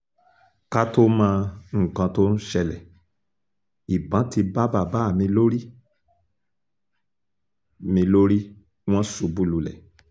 ká tóó mọ nǹkan tó ń ṣẹlẹ̀ ìbọn ti bá bàbá mi lórí mi lórí wọn ṣubú lulẹ̀